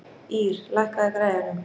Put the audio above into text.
Ýr, lækkaðu í græjunum.